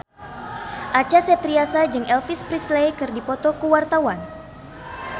Acha Septriasa jeung Elvis Presley keur dipoto ku wartawan